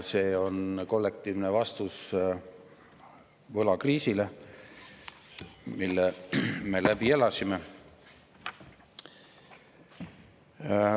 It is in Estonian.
See on kollektiivne vastus võlakriisile, mille me läbi elasime.